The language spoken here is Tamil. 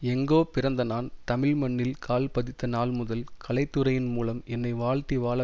எங்கோ பிறந்த நான் தமிழ் மண்ணில் கால் பதித்த நாள் முதல் கலைத்துறையின் மூலம் என்னை வாழ்த்தி வாழ